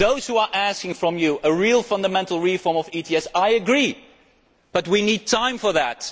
To those who are asking for a real fundamental reform of ETS, I agree, but we need time for that.